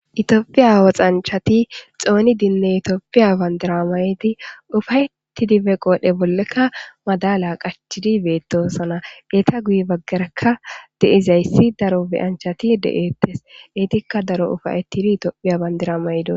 Tooophiya woxanchati xooni dinne itoopiya bandiramayti ufayti dibe qoodhdhe bollekka madala qachidi beetosana eeta guyi baggarekka deizayssi daro biyanchati de'ettes eitikka daro ufayettidi itoophiya bandiramaydu.